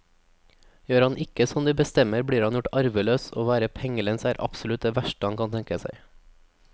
Gjør han ikke som de bestemmer, blir han gjort arveløs, og å være pengelens er det absolutt verste han kan tenke seg.